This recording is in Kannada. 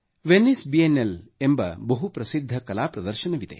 ವೆನ್ನಿಸ್ ಬಿಯೆನ್ನೆಲ್ ಎಂಬ ಬಹು ಪ್ರಸಿದ್ಧ ಕಲಾ ಪ್ರದರ್ಶನವಿದೆ